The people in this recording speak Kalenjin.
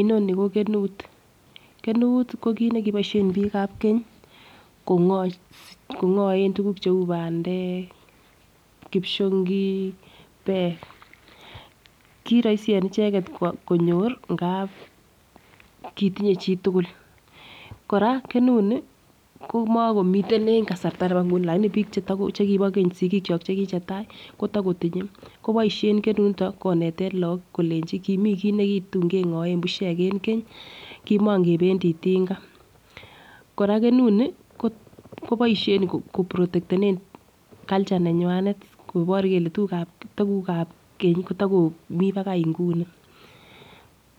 Inoni ko kenut, kenut ko kit nekiboishen bik ab kenyi kons kongoen tukuk cheu pandek, kipshongik peek. Kiroisi en icheket konyor ngap kitinye chitukul. Koraa kenut nii ko mokomiten en kasarta nebo inguni lakini bik chebo bik chekibo keny sikik chok chekichetai kotokotinye koboishen kenut niton koneten lok kolenchi kimii kii nekitun kengoen bushek en keny kimokependii tinga. Koraa kenu nii koboishen ko protektenen culture neywanet kobor kele tukuk kab tukukab keny kotokomii bakai nguni.